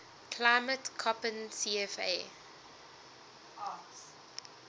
climate koppen cfa